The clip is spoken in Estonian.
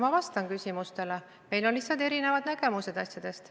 Ma vastan küsimustele, meil on lihtsalt erinevad nägemused asjadest.